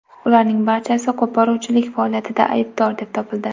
Ularning barchasi qo‘poruvchilik faoliyatida aybdor deb topildi.